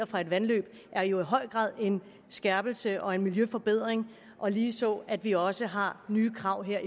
fra et vandløb er jo i høj grad en skærpelse og en miljøforbedring og ligeså at vi også har nye krav her